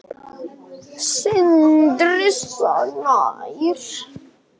Sindri Snær